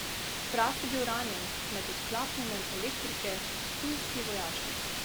Fras je bil ranjen med odklapljanjem elektrike ptujski vojašnici.